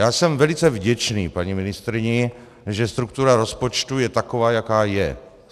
Já jsem velice vděčný paní ministryni, že struktura rozpočtu je taková, jaká je.